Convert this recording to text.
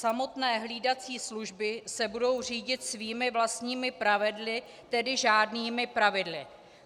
Samotné hlídací služby se budou řídit svými vlastními pravidly, tedy žádnými pravidly.